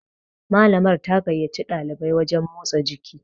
Malamar ta gaiyaci ɗalibai wajen motsa jiki